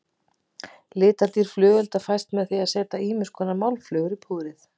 Litadýrð flugelda fæst með því að setja ýmiskonar málmflögur í púðrið.